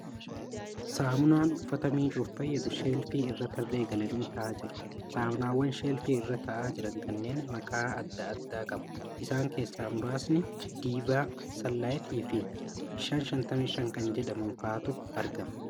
Saamunaan uffata miiccuuf fayyadu sheelfii irra tarree galanii taa'aa jiru. Saamunaawwan sheelfii irra taa'aa jiran kunneen maqaa adda addaa qabu. Isaan keessaa muraasni Diivaa, Sanlaayit fi 555 kan jedhaman fa'aatu argama.